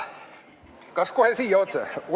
Kas kohe siia otse?